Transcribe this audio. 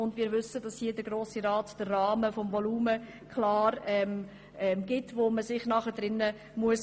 Es ist uns auch klar, dass der Grosse Rat den Rahmen vorgibt, in dem man sich bewegen muss.